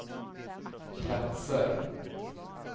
platser